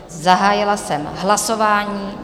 Zahájila jsem hlasování.